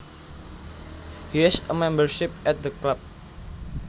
He has a membership at the club